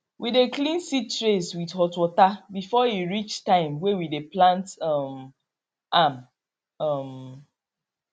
we dey clean seed trays with hot water before e reach time way we dey plant um am um